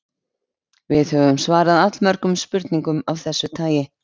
Við höfum svarað allmörgum spurningum af þessu tagi.